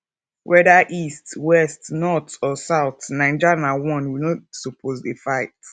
whether east west north or south naija na one we no suppose dey fight